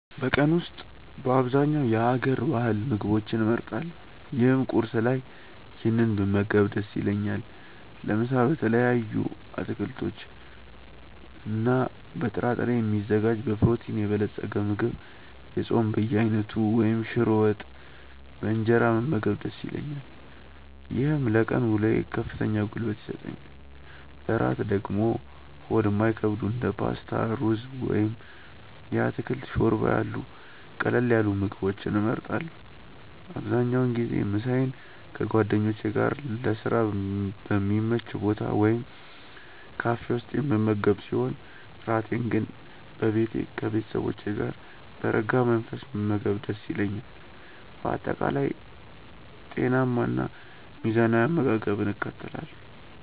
በቀን ውስጥ በአብዛኛው የሀገር ባህል ምግቦችን እመርጣለሁ ይህም ቁርስ ላይ ይህንን ብመገብ ደስ ይለኛል። ለምሳ በተለያዩ አትክልቶችና በጥራጥሬ የሚዘጋጅ በፕሮቲን የበለፀገ ምግብ፣ የጾም በየአይነቱ ወይም ሽሮ ወጥ በእንጀራ መመገብ ደስ ይለኛል። ይህም ለቀን ውሎዬ ከፍተኛ ጉልበት ይሰጠኛል። ለእራት ደግሞ ሆድ የማይከብዱ እንደ ፓስታ፣ ሩዝ ወይም የአትክልት ሾርባ ያሉ ቀለል ያሉ ምግቦችን እመርጣለሁ። አብዛኛውን ጊዜ ምሳዬን ከጓደኞቼ ጋር ለስራ በሚመች ቦታ ወይም ካፌ ውስጥ የምመገብ ሲሆን፣ እራቴን ግን በቤቴ ከቤተሰቦቼ ጋር በረጋ መንፈስ መመገብ ደስ ይለኛል። በአጠቃላይ ጤናማና ሚዛናዊ አመጋገብን እከተላለሁ።